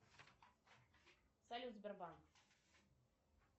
салют сбербанк